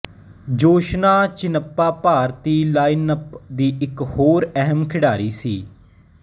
ਜੋਸ਼ਨਾ ਚਿਨੱਪਾ ਭਾਰਤੀ ਲਾਈਨਅਪ ਦੀ ਇਕ ਹੋਰ ਅਹਿਮ ਖਿਡਾਰੀ ਸੀ